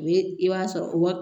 O ye i b'a sɔrɔ o